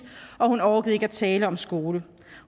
og hun orkede ikke at tale om skole